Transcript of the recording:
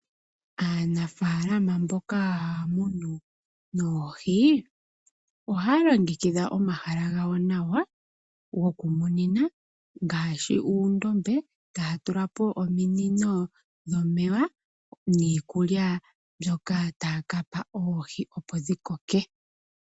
Aanafalama mboka haya munu oohi, ohaya longekidha omahala gawo gokumunina nawa. Ngaashi uundombe, tayatula po ominino dhomeya niikulya mbyoka tayape oohi opo dhikoke.